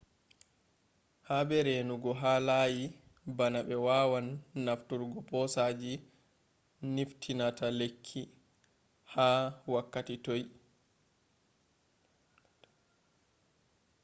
habe renugo ha layi bana be wawan nafturgo posaji nifnata lekkiji ha ko wakkati toi